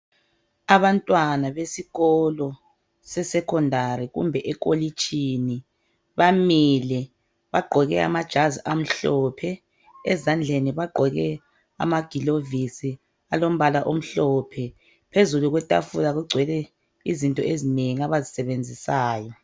Abantwana besikolo se"Secondary "kumbe ekolitshini bamile bagqoke amajazi amhlophe ezandleni bagqoke amagilovisi alombala omhlophe phezulu kwetafula kugcwele izinto ezinengi abazisebenzisayo.